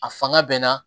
A fanga bɛ n na